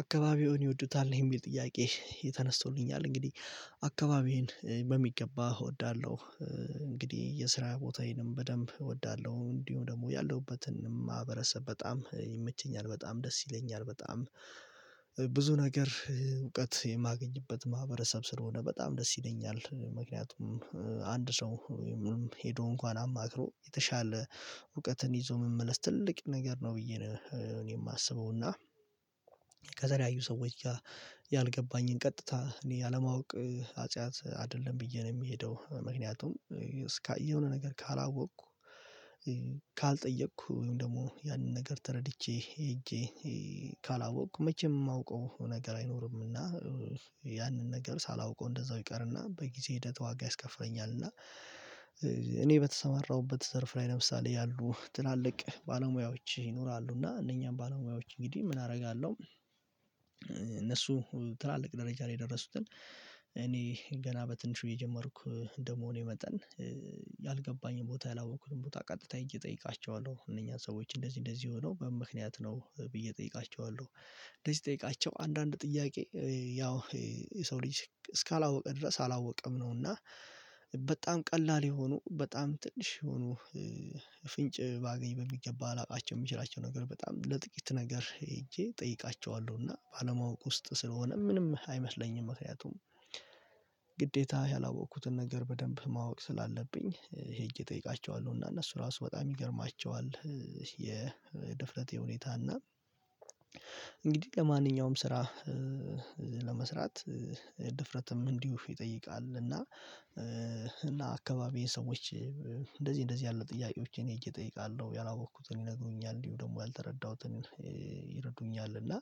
አካባቢውን ይወዱታል የሚል ጥያቄ ተነስቶልኛል እንግዲህ አካባቢዬን በሚገባ እወዳለሁ። እንግዲህ የስራ ቦታዬንም በደንብ እወዳለሁ እንዲሁም ደግሞ ያለሁበትን ማህበረሰብ በጣም ይመቸኛል በጣም ደስ ይለኛል በጣም ብዙ ነገር እውቀት የማገኝበት ማህበረሰብ ስለሆነ በጣም ደስ ይለኛል። ምክንያቱም አንድ ሰው ወይም ሙሉም ሄዶ እንኳን አማክሮ የተሻለ እውቀትን ይዞ መመለስ ትልቅ ነገር ነው ብዬ ነው የማስበው። እና ከተለያዩ ሰዎች ጋር ያልገባኝን ቀጥታ እኔ ያለማወቅ ኃጢአት አይደለም ብዬ ነው የምሄደው። ምክንያቱም እስካየሁ የሆ ነገር ካላወቅኩ ካልጠየቅኩ ወይም ደግሞ ያንን ነገር ተረድቼ ሄጄ ካላወቅኩ መቼም የማውቀው ነገር አይኖርምና። ያንን ነገር ሳላውቀው እንደዛው ይቀርና በጊዜ ሂደት ዋጋ ያስከፍረኛል። እና እኔ በተሰማራሁበት ዘርፍ ላይ ለምሳሌ ያሉ ትላልቅ ባለሙያዎች ይኖራሉ እና እነኛም ባለሙያዎች እንግዲህ ምን አደርጋለሁ? እነሱ ትላልቅ ደረጃ ላይ የደረሱትን እኔ ገና በትንሹ የጀመርኩ እንደመሆኔ የመጠን ያልገባኝን ቦታ ያላወቅኩትን ቦታ ቀጥታ ሄጄ እየጠየቃቸው አለው እነኛን ሰዎች እንደዚህ እንደዚህ የሆው በምን ምክንያት ነው ብዬ እጠይቃቸዋለሁ? እንደዚህ ስጠይቃቸው አንዳንድ ጥያቄ ያው የሰው ልጅ እስካላወቀ ድረስ አላወቀም ነውና። በጣም ቀላል የሆኑ በጣም ትንሽ የሆኑ ፍንጭ ባገኝ በሚገባ ላውቃቸው የሚችላቸው ነገር በጣም ለጥቂት ነገር ሄጄ እጠይቃቸዋለሁ እና ባለማወቅ ውስጥ ስለሆነ ምንም አይመስለኝም። ምክንያቱም ግዴታ ያላወቅኩትን ነገር በደንብ ማወቅ ስላለብኝ ሄጄ እየጠየቃቸው እና እነሱ ራሱ በጣም ይገርማቸዋል። የድፍረቴ የሁኔታ እና እንግዲህ ለማንኛውም ስራ ለመስራት ድፍረትም እንዲሁ ይጠይቃል። እና እና አካባቢዬ ሰዎች እንደዚህ እንደዚህ ያለው ጥያቄዎችን ሄጄ ጠየቃለው ነው ያላወቅኩትን ይነግሩኛል እንዲሁ ደግሞ ያልተረዳሁትን ይረዱኛል። እና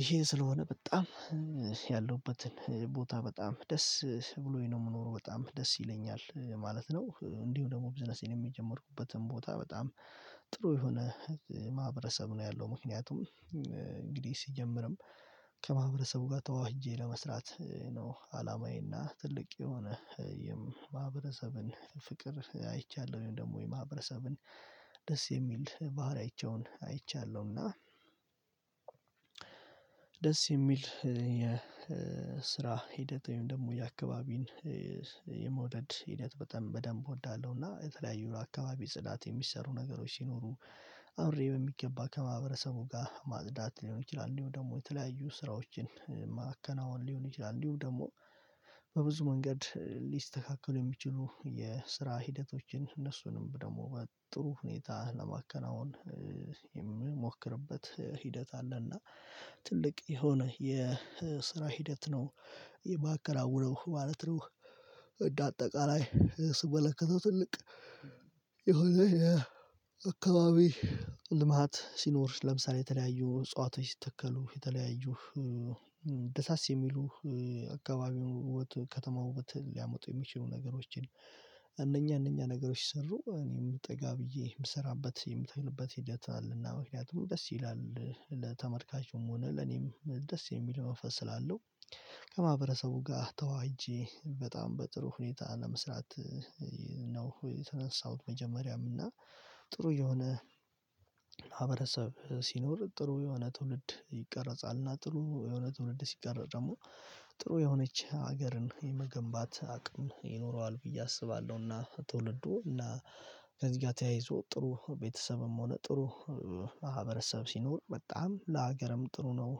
ይሄ ስለሆነ በጣም ያለሁበትን ቦታ በጣም ደስ ብሎኝ ነው የምኖረው በጣም ደስ ይለኛል ማለት ነው። እንዲሁ ደግሞ ቢዝነሴን የጀምርኩበትን ቦታ በጣም ጥሩ የሆነ ማህበረሰብ ነው ያለው ምክንያቱም እንግዲህ ሲጀምርም ከማህበረሰቡ ጋር ተዋህጄ ለመስራት ነው አላማዬና ትልቅ የሆነ የማህበረሰብን ፍቅር አይቻለሁ ደግሞ የማህበረሰብን ደስ የሚል ባህሪያቸውን አይቻለሁ እና ደስ የሚል የስራ ሂደት ወይም ደግሞ የአካባቢን የመውደድ ሂደት በጣም በደንብ እወዳለሁና። የተለያዩ አካባቢ ጽዳት የሚሰሩ ነገሮች ሲኖሩ አብሬ በሚገባ ከማህበረሰቡ ጋር ማጽዳት ሊሆን ይችላል እንዲሁ ደግሞ የተለያዩ ስራዎችን ማከናወን ሊሆን ይችላል። እንዲሁ ደግሞ በብዙ መንገድ ሊስተካከሉ የሚችሉ የስራ ሂደቶችን እነሱንም ደግሞ ጥሩ ሁኔታ ለማከናወን የምሞክርበት ሂደት አለና ትልቅ የሆነ የስራ ሂደት ነው የማከናውነው ማለት ነው። እንደአጠቃላይ ስመለከተው ትልቅ የሆነ የአካባቢ ልማት ሲኖር ለምሳሌ የተለያዩ እጸዋቶች ሲተከሉ የተለያዩ ደሳስ የሚሉ አካባቢው ከተማ ውበት ሊያመጡ የሚችሉ ነገሮችን እነኛ እነኛ ነገሮች ሲሰሩ እኔም ጠጋ ብዬ የምሰራበት የምትልበት ሂደት አለና ምክንያቱም ደስ ይላል ለተመልካቹም ሆነ ለኔም ደስ የሚል መንፈስ ስላለው ከማህበረሰቡ ጋር ተዋህጄ በጣም በጥሩ ሁኔታ ለመስራት ነው ተነሳሁት። መጀመሪያም እና ጥሩ የሆነ ሲኖር ጥሩ የሆነ ትውልድ ይቀረጻልና ጥሩ የሆነ ትውልድ ሲቀረጥ ደግሞ ጥሩ የሆነች ሀገርን የመገንባት አቅም ይኖረዋል ብዬ አስባለሁና። ትውልዱ እና ከዚህ ጋር ተያይዞ ጥሩ ቤተሰብም ሆነ ጥሩ ማህበረሰብ ሲኖር በጣም ለሀገርም ጥሩ ነው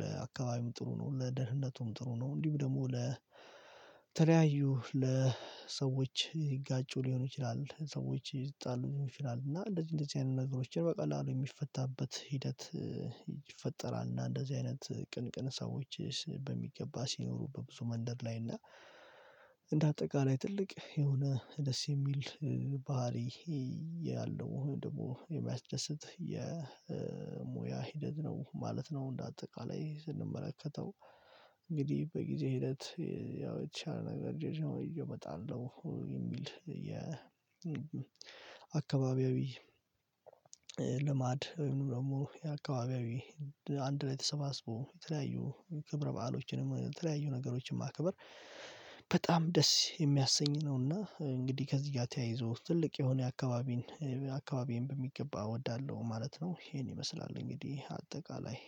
ለአካባቢም ጥሩ ነው ለደህነቱም ጥሩ ነው። እንዲሁም ደግሞ ለተለያዩ ለሰዎች ይጋጩ ሊሆኑ ይችላል ሰዎች ይጣሉ ይሆን ይችላል እና እንደዚህ እንደዚህ አይነት ነገሮችን በቀላሉ የሚፈታበት ሂደት ይፈጠራል። እና እንደዚህ አይነት ቅን ቅን ሰዎችስ በሚገባ ሲኖሩ በብዙ መንደር ላይ እና እንደ አጠቃላይ ትልቅ የሆነ ደስ የሚል ባህሪ ይሄ ያለው ደግሞ የሚያስደስት የሙያ ሂደት ነው ማለት ነው። እንደ አጠቃላይ ስንመለከተው እንግዲህ በጊዜ ሂደት ያው የተሻለ ነገር ይዤአሁን እመጣለሁ የሚል የአካባቢያዊ ልማድ ወይም ደግሞ የአካባቢያዊ አንድ ላይ ተሰባስቦ የተለያዩ ክብረ በዓሎችን የተለያዩ ነገሮችን ማከበር በጣም ደስ የሚያሰኝ ነውና እንግዲህ ከዚህ ጋር ተያይዞ ትልቅ የሆነ የአካባቢን አካባቢን በሚገባ እወዳለሁ ማለት ነው። ይሄን ይመስላል እንግዲህ አጠቃላይ